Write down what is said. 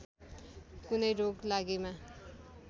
कुनै रोग लागेमा